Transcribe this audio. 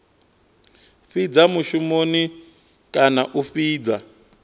fhidza mushumoni kana a fhidza